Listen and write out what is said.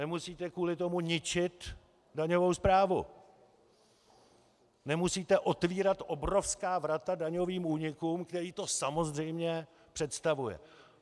Nemusíte kvůli tomu ničit daňovou správu, nemusíte otevírat obrovská vrata daňovým únikům, které to samozřejmě představuje.